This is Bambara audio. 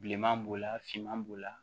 Bilenman b'o la finman b'o la